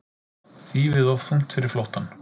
Þýfið of þungt fyrir flóttann